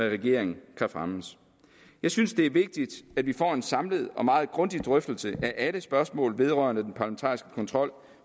regeringen kan fremmes jeg synes det er vigtigt at vi får en samlet og meget grundig drøftelse af alle spørgsmål vedrørende den parlamentariske kontrol